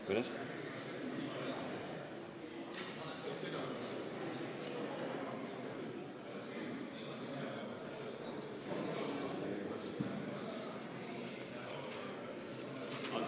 Kuidas?